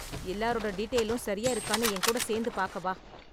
எல்லாரோட டீடெயிலும் சரியா இருக்கானு என் கூட சேர்ந்து பார்க்க வா.